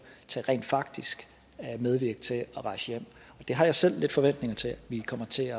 til rent faktisk at medvirke til at rejse hjem det har jeg selv forventning til vi kommer til